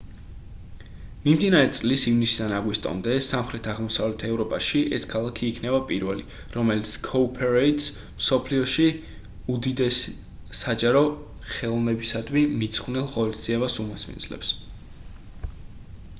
მიმდინარე წლის ივნისიდან აგვისტომდე სამხრეთ-აღმოსავლეთ ევროპაში ეს ქალაქი იქნება პირველი რომელიც cowparade-ს მსოფლიოში უდიდეს საჯარო ხელოვნებისადმი მიძღვნილ ღონისძიებას უმასპინძლებს